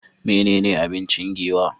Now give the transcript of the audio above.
Menene abinci Giwa?